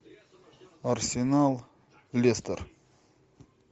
арсенал лестер